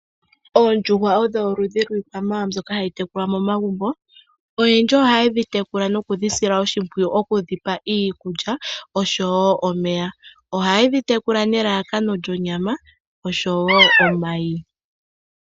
Oondjuhwa odho oludhi lwiitekulwanamwenyo mbyoka hayi tekulwa momagumbo, oyendji ohaye dhi tekula nokudhi sila oshimpwiyu okudhipa iikulya oshowo omeya. Ohaye dhi tekula nelalakano lyonyama oshowo omayi.